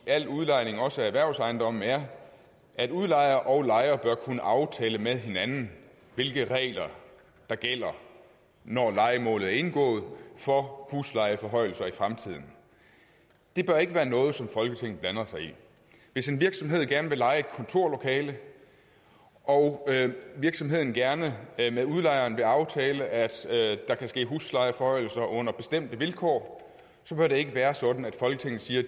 al udlejning også af erhvervsejendomme er at udlejer og lejer bør kunne aftale med hinanden hvilke regler der gælder når lejemålet er indgået for huslejeforhøjelser i fremtiden det bør ikke være noget som folketinget blander sig i hvis en virksomhed gerne vil leje et kontorlokale og virksomheden gerne med udlejeren vil aftale at der kan ske huslejeforhøjelser under bestemte vilkår så bør det ikke være sådan at folketinget siger